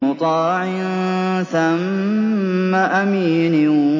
مُّطَاعٍ ثَمَّ أَمِينٍ